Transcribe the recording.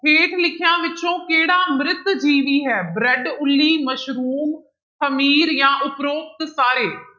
ਹੇਠ ਲਿਖਿਆਂ ਵਿੱਚੋਂ ਕਿਹੜਾ ਮ੍ਰਿਤ ਜੀਵੀ ਹੈ ਬ੍ਰਿਡ, ਉੱਲੀ, ਮਸ਼ਰੂਮ, ਹਮੀਰ ਜਾਂ ਉਪਰੋਕਤ ਸਾਰੇ।